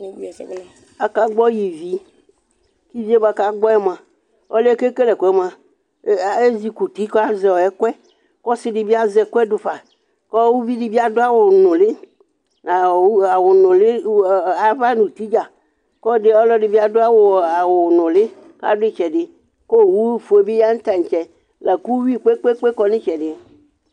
Akagbɔ ivi Ivi yɛ bʋakʋ agbɔ yɛ mʋa, ɔlʋ yɛ kekele ɛkʋ yɛ mʋa, ezɩkɔ uti kʋ azɛ ɛkʋ yɛ, kʋ ɔsɩ dɩbɩ azɛ ɛkʋ yɛ dufa Uvi dɩbɩ adʋ awʋnʋlɩ ava nʋ uti dza Kʋ alu ɛdɩnɩ bɩ adʋ awʋnʋlɩ, kʋ adʋ ɩtsɛdɩ, kʋ owʋfue bɩ ya nʋ taŋtse Lakʋ uyʋi gbegbegbe akɔ nʋ ɩtsɛdɩ